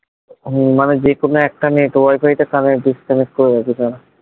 ও মানে যেকোনো একটা network connect disconnect করে রেখেছে।